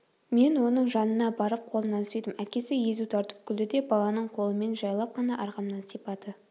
мен оның жанына барып қолынан сүйдім әкесі езу тартып күлді де баланың қолымен жайлап қана арқамнан сипады